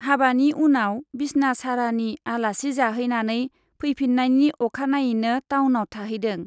हाबानि उनाव बिसना सारानि आलासि जाहैनानै फैफिन्नायनि अखानायैनो टाउनाव थाहैदों।